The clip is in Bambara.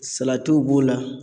Salatiw b'o la.